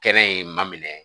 Kɛnɛ ye ma minɛ